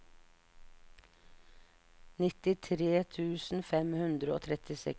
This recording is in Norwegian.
nittitre tusen fem hundre og trettiseks